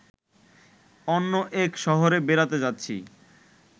অন্য এক শহরে বেড়াতে যাচ্ছি